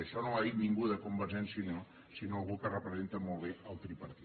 això no ho ha dit ningú de convergència i unió sinó algú que representa molt bé el tripartit